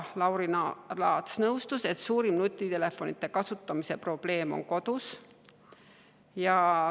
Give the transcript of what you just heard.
Lauri Laats nõustus, et suurim nutitelefonide kasutamise probleem on kodus.